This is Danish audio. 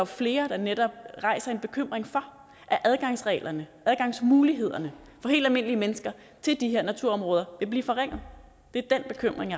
flere der netop rejser en bekymring for at adgangsreglerne adgangsmulighederne for helt almindelige mennesker til de her naturområder vil blive forringet det er den bekymring